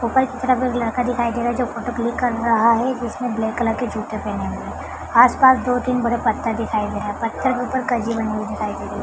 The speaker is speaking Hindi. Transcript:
ऊपर की तरफ एक लड़का दिखाई दे रहा है जो फोटो क्लिक कर रहा है जिसने ब्लैक कलर के जूते पेहने हुए आस पास दो तीन बड़े पत्थर दिखाए दे रहा पत्थर के ऊपर कजी बनी हुई दिखाई दे रही।